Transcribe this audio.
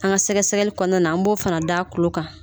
An ka sɛgɛsɛgli kɔnɔna na an b'o fana d'a tulo kan